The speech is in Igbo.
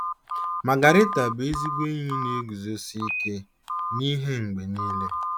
Magarita bụ ezigbo enyi na-eguzosi ike n'ihe mgbe nile.